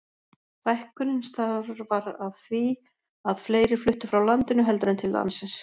Fækkunin starfar af því að fleiri fluttu frá landinu heldur en til landsins.